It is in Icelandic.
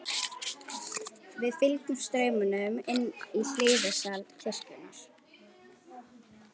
Við fylgdum straumnum inn í hliðarsal kirkjunnar.